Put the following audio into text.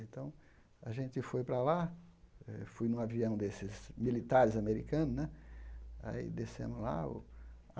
Então, a gente foi para lá eh, fui em um avião desses militares americanos né. Aí descemos lá o